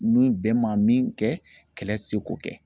Ni bɛn ma min kɛ kɛlɛ tɛ se k'o kɛ